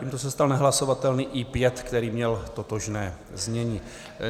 Tímto se stal nehlasovatelným I5, který měl totožné znění.